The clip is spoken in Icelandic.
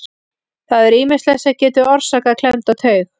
Það er ýmislegt sem getur orsakað klemmda taug.